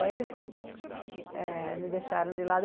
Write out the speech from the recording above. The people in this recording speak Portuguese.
Aí eles eh me deixaram de lado.